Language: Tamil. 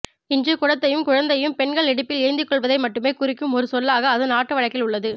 இன்று குடத்தையும் குழந்தையையும் பெண்கள் இடுப்பில் ஏந்திக்கொள்வதை மட்டுமே குறிக்கும் ஒரு சொல்லாக அது நாட்டுவழக்கில் உள்ளது